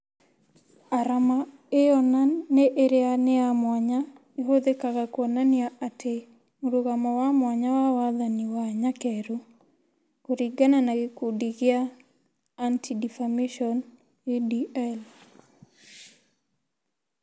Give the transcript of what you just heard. Arama ĩyo na ĩrĩa nĩ ya mwanya ĩhuthĩkaga kuonania atĩ " mũrũgamo wa mwanya wa wathani wa nyakerũ" kũringana na gĩkundi gĩa Anti-Defamation (ADL)